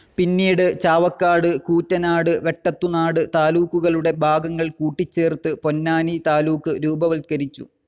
പിന്നീട് ചാവക്കാട്, കൂറ്റനാട്, വെട്ടത്തുനാട് താലൂക്കുകളുടെ ഭാഗങ്ങൾ കൂട്ടിച്ചേർത്ത് പൊന്നാനി താലൂക്ക് രൂപവത്കരിച്ചു.